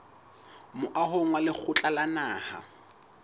moahong wa lekgotla la naha